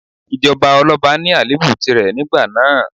Ìjọba ọlọ́ba ní àléébù tìrẹ nígbà náà.